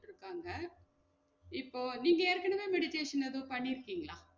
இருக்காங்க இப்போ நீங்க ஏற்கனவே meditation எதும் பண்ணிருக்கீங்களா?